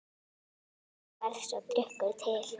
Þannig varð sá drykkur til.